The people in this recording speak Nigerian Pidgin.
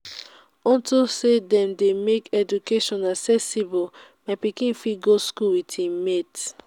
unto say dey don make education accessible my pikin fit go school with im mate